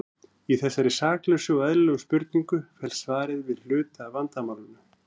Í þessari saklausu og eðlilegri spurningu felst svarið við hluta af vandamálinu.